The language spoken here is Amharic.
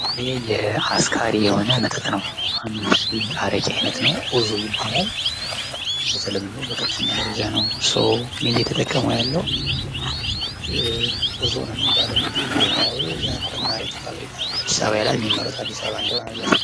ይህ አስካሪ የሆነ መጠጥ ነው። እንደ አረቄ አይነት ነው ኡዞ ይባላል። በተለምዶ በከፍተኛ ደረጃ ሰው እየተጠቀመው ይገኛል። ብሄራዊ የአልኮል መጠጥ ፈብሪካ አዲስ አበባ ይላል። የሚመረተው አዲስ አበባ እንደሆነ ያሳያል።